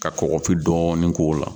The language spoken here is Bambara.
Ka kɔkɔfin dɔɔnin k'o la